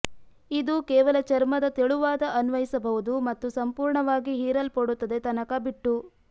ಇದು ಕೇವಲ ಚರ್ಮದ ತೆಳುವಾದ ಅನ್ವಯಿಸಬಹುದು ಮತ್ತು ಸಂಪೂರ್ಣವಾಗಿ ಹೀರಲ್ಪಡುತ್ತದೆ ತನಕ ಬಿಟ್ಟು